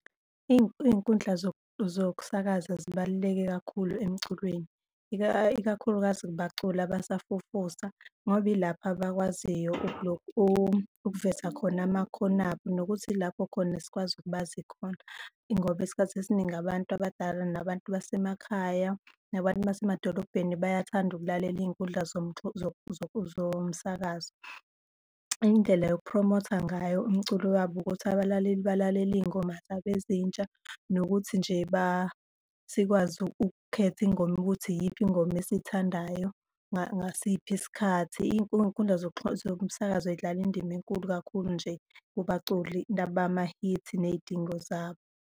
Iy'nkundla zokusakaza zibaluleke kakhulu emculweni, ikakhulukazi kubaculi abasafufusa, ngoba ilapho abakwaziyo ukuveza khona amakhono abo, nokuthi ilapho khona esikwazi ukubazi khona. Ingoba isikhathi esiningi abantu abadala, nabantu basemakhaya, nabantu basemadolobheni, bayathanda ukulalela iy'nkundla zomsakazo. Iy'ndlela yokuphromotha ngayo umculo wabo ukuthi abalaleli balalele iy'ngoma zabo ezintsha, nokuthi nje sikwazi ukukhetha ingoma ukuthi iyiphi ingoma esiyithandayo ngasiphi isikhathi. Iy'nkundla zomsakazo zidlala indima enkulu kakhulu nje kubaculi laba bamahithi ney'dingo zabo.